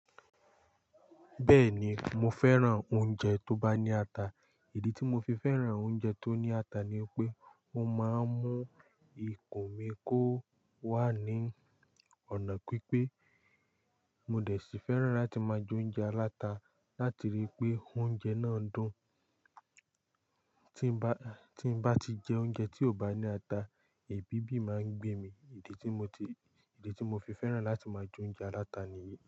Bẹ́ẹ̀ni, mo fẹ́ràn oúnjẹ tó bá ní ata. Ìdí tí mo fi fẹ́ràn oúnjẹ tó ní ata ni pé ó máa ń mú ikùn mi kó wà ní ọ̀nà pípé. Mo dẹ̀ sí fẹ́ràn láti máa jẹ oúnjẹ aláta láti rí i pé oúnjẹ náà dùn. Tí n bá, tí n bá ti jẹ oúnjẹ tí ò bá ní ata, ebi bi máa ń gbé mi. Ìdí tí mo ti, ìdí tí mo fi fẹ́ràn láti máa jẹ oúnjẹ aláta nìyí.